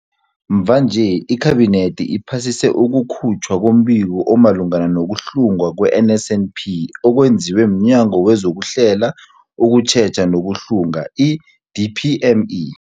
Mvanje, iKhabinethi iphasise ukukhutjhwa kombiko omalungana nokuhlungwa kwe-NSNP okwenziwe mNyango wezokuHlela, ukuTjheja nokuHlunga, i-DPME.